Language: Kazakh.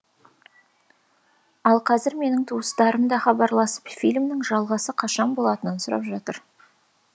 ал қазір менің туыстарым да хабарласып фильмнің жалғасы қашан болатынын сұрап жатыр